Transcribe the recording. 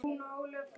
Margrét Ástrún.